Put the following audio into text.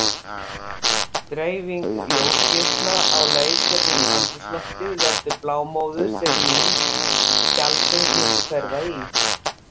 Dreifing ljósgeisla á leið gegnum andrúmsloftið veldur blámóðu, sem mynd fjallsins myndi hverfa í.